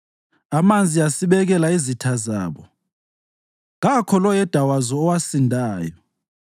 Amanzi asibekela izitha zabo, kakho loyedwa wazo owasindayo.